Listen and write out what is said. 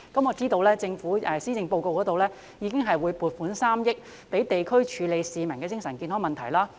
我知道政府已在施政報告中表示會撥款3億元予地區，處理市民的精神健康問題。